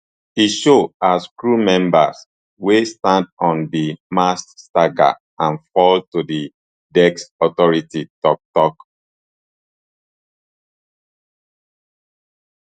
e show as crew members wey stand on di masts stagger and fall to di deck authorities tok tok